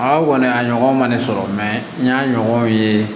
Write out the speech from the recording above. A kɔni a ɲɔgɔn ma ne sɔrɔ n y'a ɲɔgɔn ye